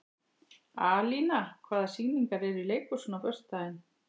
Alína, hvaða sýningar eru í leikhúsinu á föstudaginn?